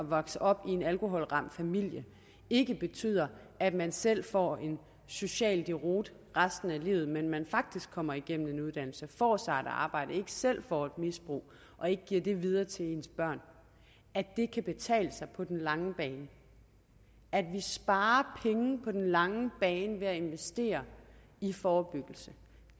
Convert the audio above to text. at vokse op i en alkoholramt familie ikke betyder at man selv får en social deroute resten af livet men men faktisk kommer igennem en uddannelse og får sig et arbejde og ikke selv får et misbrug og ikke giver det videre til ens børn kan betale sig på den lange bane at vi sparer penge på den lange bane ved at investere i forebyggelse